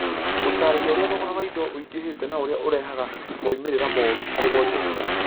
gũtaarĩria ũrĩa thogora wa indo ũingĩhĩte na ũrĩa ũrehaga moimĩrĩro moru harĩ wonjoria